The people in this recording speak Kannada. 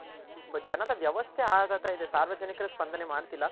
ಜನದ ವ್ಯವಸ್ಥೆ ಆಗಗ್ತಾ ಇದೆ ಸಾರ್ವಜನಿಕರು ಸ್ಪಂದನೆ ಮಾಡ್ತಿಲ್ಲ